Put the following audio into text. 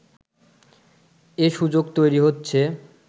এ সুযোগ তৈরি হচ্ছে